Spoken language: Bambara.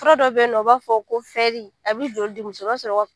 Fura dɔ bɛ yen u b'a fɔ ko a bɛ jɔ di muso o b'a sɔrɔ